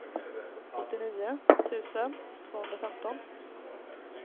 åttionio tusen tvåhundrafemton